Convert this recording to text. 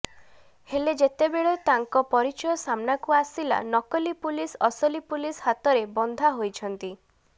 ହେଲେ ଯେତେବେଳେ ତାଙ୍କ ପରିଚୟ ସାମ୍ନାକୁ ଆସିଲା ନକଲି ପୁଲିସ୍ ଅସଲି ପୁଲିସ୍ ହାତରେ ବନ୍ଧା ହୋଇଛନ୍ତି